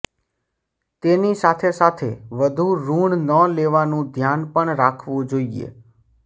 તેની સાથેસાથે વધુ ઋણ ન લેવાનું ધ્યાન પણ રાખવું જોઇએ